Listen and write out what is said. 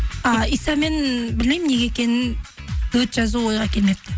ы исамен білмеймін неге екенінін дуэт жазу ойға келмепті